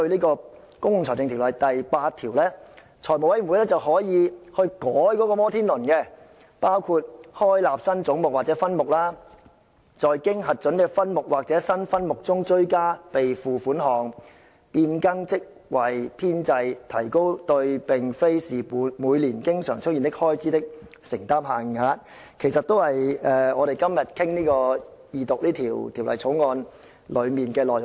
根據《條例》第8條，財務委員會可對"摩天輪"作出修改，包括開立新總目或分目、在經核准的分目或新分目中的追加備付款項、變更職位編制及提高對並非是每年經常出現的開支的承擔限額，其實全部關乎我們今天二讀《條例草案》的內容。